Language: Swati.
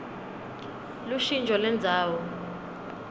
lushintjo lendzawo